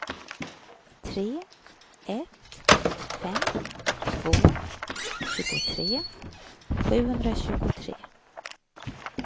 tre ett fem två tjugotre sjuhundratjugotre